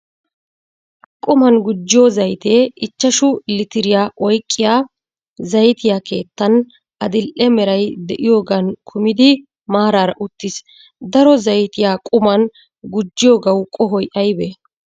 Quman gujjiyo zayitee ichchashu litiriya oyqqiyaa zaytiyaa keettan adidhe meray de"iyoogan kumidi maaraara uttis. Daro zaytiyaa quman gujjiyoogawu qohoy aybee?